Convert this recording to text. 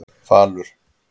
Falur